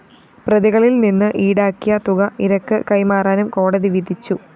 പ്രതികളില്‍ നിന്ന് ഈടാക്കിയ തുക ഇരക്ക് കൈമാറാനും കോടതി വിധിച്ചു